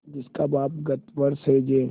जिसका बाप गत वर्ष हैजे